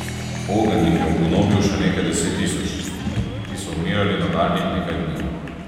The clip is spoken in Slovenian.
Ogenj jih je ugonobil še nekaj deset tisoč, ti so umirali nadaljnjih nekaj dni.